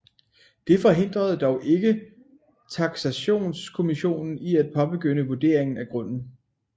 Det forhindrede dog ikke taksationskommissionen i at påbegynde vurderingen af grunden